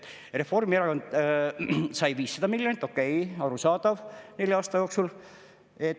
Reformierakond sai 500 miljonit, okei, arusaadav, nelja aasta jooksul.